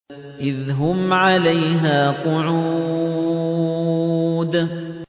إِذْ هُمْ عَلَيْهَا قُعُودٌ